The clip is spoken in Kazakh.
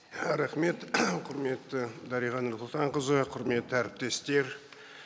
рахмет құрметті дариға нұрсұлтанқызы құрметті әріптестер